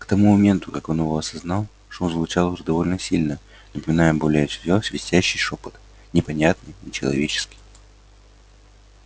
к тому моменту как он его осознал шум звучал уже довольно сильно напоминая более всего свистящий шёпот непонятный нечеловеческий